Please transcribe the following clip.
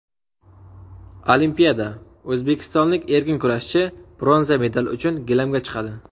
Olimpiada: o‘zbekistonlik erkin kurashchi bronza medal uchun gilamga chiqadi.